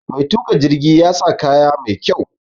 Mai tuƙa jirgi ya sa kaya mai kyau.